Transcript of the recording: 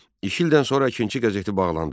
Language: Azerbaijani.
İki ildən sonra Əkinçi qəzeti bağlandı.